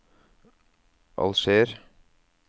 Alger